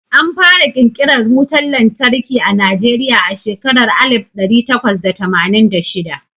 Anfara ƙirƙiran wutan lantarki a Najeriya a shekarar alif ɗari takwas da tamanin da shida.